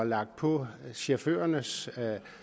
lagt på chaufførernes